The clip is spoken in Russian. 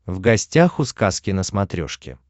в гостях у сказки на смотрешке